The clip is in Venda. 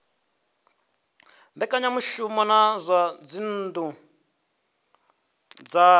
mbekanyamushumo dza zwa dzinnu dza